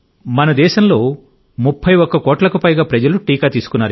మన దేశంలో 31 కోట్లకు పైగా ప్రజలు టీకా తీసుకున్నారు